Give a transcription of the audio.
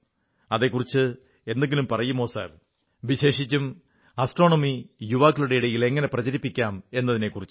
അതെക്കുറിച്ച് എന്തെങ്കിലും പറയുമോ സർ വിശേഷിച്ചും ആസ്ട്രോണമി യുവാക്കളുടെയിടയിൽ എങ്ങനെ പ്രചരിപ്പിക്കാം എന്നതിനെക്കുറിച്ച്